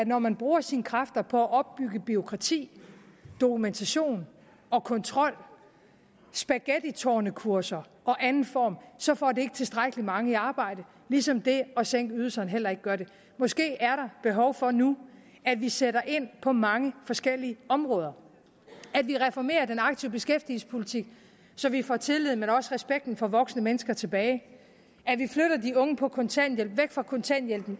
når man bruger sine kræfter på at opbygge bureaukrati dokumentation og kontrol spaghettitårnekurser og andet så får det ikke tilstrækkelig mange i arbejde ligesom det at sænke ydelserne heller ikke gør det måske er der behov for nu at vi sætter ind på mange forskellige områder at vi reformerer den aktive beskæftigelsespolitik så vi får tilliden også respekten for voksne mennesker tilbage at vi flytter de unge på kontanthjælp væk fra kontanthjælpen